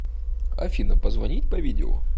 афина позвонить по видео